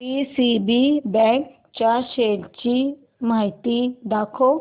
DCB bank च्या shares ची माहिती दाखव